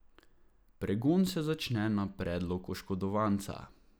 Pregon se začne na predlog oškodovanca.